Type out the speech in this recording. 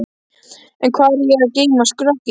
En hvar á ég að geyma skrokkinn.